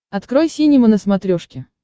открой синема на смотрешке